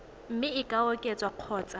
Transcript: mme e ka oketswa kgotsa